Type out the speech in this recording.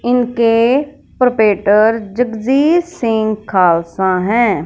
इनके प्रिपेरटॉर जगजीत सिंह खालसा हैं।